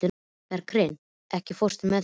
Berghreinn, ekki fórstu með þeim?